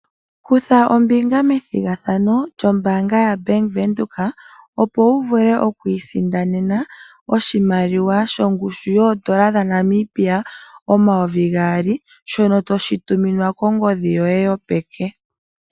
Kutha ombinga methigathano lyombaanga yabank Windhoek opo wu vule okwiisindanena oshimaliwa shongushu yoodolla dhaNamibia omayovi gaali shono toshi tuminwa kongodhi yoye yo peke.